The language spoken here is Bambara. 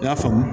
I y'a faamu